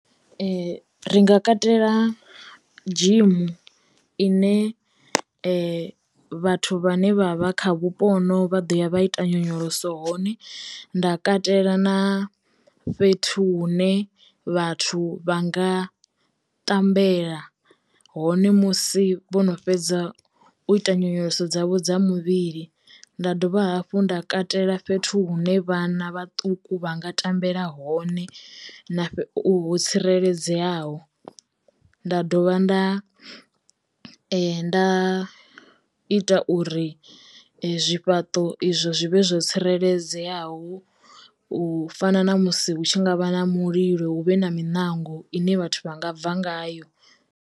Ri nga katela dzhimu ine vhathu vha ne vha vha kha vhupo honovhu vha ḓo ya vha ita nyonyoloso hone, nda katela na fhethu hune vhathu vha nga ṱambela hone musi vho no fhedza u ita nyonyoloso dzavho dza muvhili. Nda dovha hafhu nda katela fhethu hune vhana vhaṱuku vha nga tambela hone na u ho tsireledzeaho nda dovha, nda nda ita uri zwifhaṱo izwo zwi vhe zwo tsireledzeyaho u fana na musi hu tshi ngavha na mulilo huvhe na miṋango ine vhathu vha nga bva ngayo.